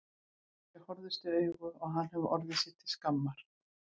Þau horfðust í augu og hann hefur orðið sér til skammar.